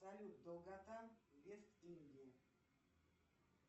салют долгота вест индия